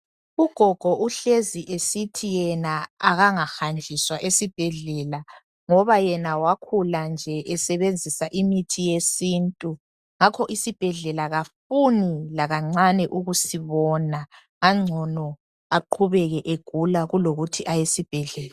Ugogo uhlezi esithi yena akangahanjiswa esibhedlela ngoba yena wakhula nje esebenzisa imithi yesintu ngakho isibhedlela kafuni lakancane ukusibona kungangcono aqhubeke egula kulokuthi aye esibhedlela.